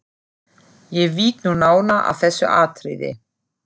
Ég vík nú nánar að þessu atriði.